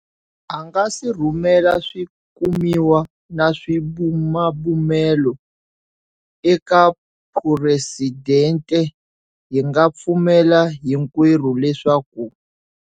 A nga si rhumela swi kumiwa na swibumabumelo eka Phuresidente, hi nga pfumela hinkwerhu leswaku.